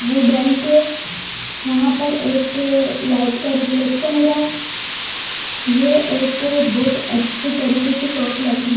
Wooden के यहां पर एक लाइट का रिफ्लेक्शन हो रहा है ये एक बहुत अच्छे तरीके से शॉप लग रही है।